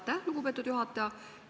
Aitäh, lugupeetud juhataja!